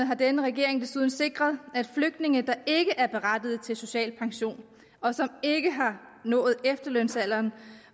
har denne regering desuden sikret at flygtninge der ikke er berettiget til social pension og som ikke har nået efterlønsalderen